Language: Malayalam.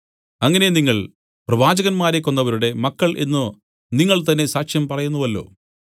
അങ്ങനെ നിങ്ങൾ പ്രവാചകന്മാരെ കൊന്നവരുടെ മക്കൾ എന്നു നിങ്ങൾ തന്നേ സാക്ഷ്യം പറയുന്നുവല്ലോ